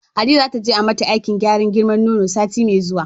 Hadiza zata je ai mata aikin kara girman nono sati mai zuwa.